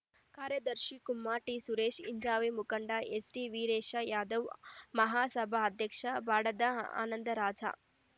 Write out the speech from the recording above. ಕಾರ್ಯದರ್ಶಿ ಕುಮಾರ ಟಿಸುರೇಶ ಹಿಂಜಾವೇ ಮುಖಂಡ ಎಸ್‌ಟಿವೀರೇಶ ಯಾದವ ಮಹಾಸಭಾ ಅಧ್ಯಕ್ಷ ಬಾಡದ ಆನಂದರಾಜ